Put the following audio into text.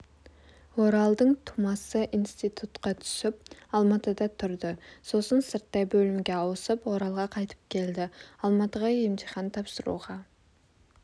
оралдың тумасы институтқа түсіп алматыда тұрды сосын сырттай бөлімге ауысып оралға қайтып келді алматыға емтихан тапсыруға